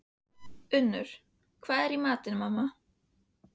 UNNUR: Hvað er í matinn, mamma?